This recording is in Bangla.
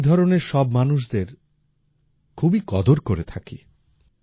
আমি এই ধরনের সব মানুষদের খুবই কদর করে থাকি